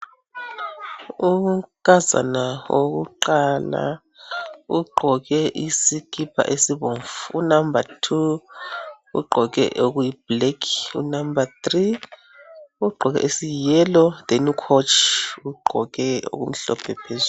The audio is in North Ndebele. Unkazana wokuqala ugqoke isikipa esibomvu unumber 2 ugqoke okuyi black unumber3 ugqoke esiyi yellow then ugqoke ucoach okumhlophe phezulu.